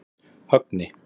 Högni